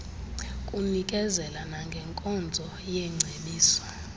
kunikezela nangenkonzo yeengcebiso